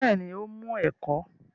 Bẹ́ẹ̀ ni, ó mú ẹ̀kọ́